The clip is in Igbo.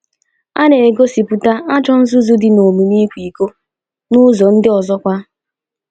A na - egosipụta ajọ nzuzu dị n’omume ikwa iko n’ụzọ ndị ọzọkwa.